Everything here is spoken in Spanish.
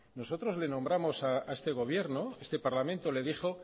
nosotros le nombramos a este gobierno a este parlamento le dijo